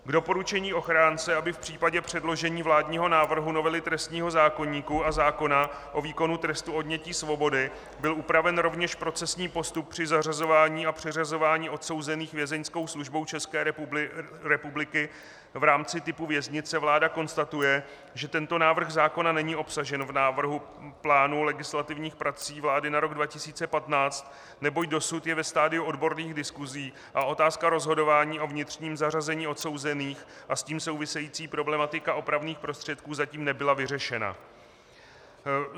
K doporučení ochránce, aby v případě předložení vládního návrhu novely trestního zákoníku a zákona o výkonu trestu odnětí svobody byl upraven rovněž procesní postup při zařazování a přeřazování odsouzených Vězeňskou službou České republiky v rámci typu věznice, vláda konstatuje, že tento návrh zákona není obsažen v návrhu plánu legislativních prací vlády na rok 2015, neboť dosud je ve stadiu odborných diskusí a otázka rozhodování o vnitřním zařazení odsouzených a s tím související problematika opravných prostředků zatím nebyla vyřešena.